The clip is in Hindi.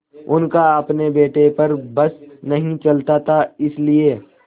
उनका अपने बेटे पर बस नहीं चलता था इसीलिए